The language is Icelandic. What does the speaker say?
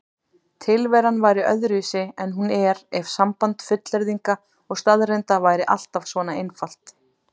Tilveran væri öðruvísi en hún er ef samband fullyrðinga og staðreynda væri alltaf svona einfalt.